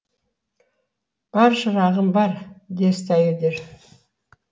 бар шырағым бар десті әйелдер